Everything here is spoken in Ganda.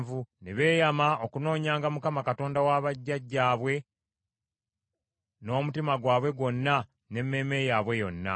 Ne beeyama okunoonyanga Mukama , Katonda wa bajjajjaabwe, n’omutima gwabwe gwonna, n’emmeeme yaabwe yonna.